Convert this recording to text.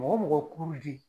Mɔgɔ mɔgɔ ji.